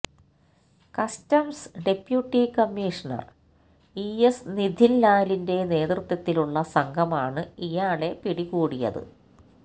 customs deputy commissioner E നിഥിന്ലാലിന്റെ നേതൃത്വത്തിലുള്ള സംഘമാണ് ഇയാളെ പിടികൂടിയത്